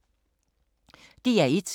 DR1